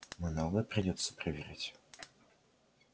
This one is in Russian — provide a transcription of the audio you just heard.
много придётся проверять